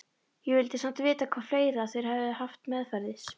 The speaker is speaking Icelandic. Ég vildi samt vita hvað fleira þeir hefðu haft meðferðis.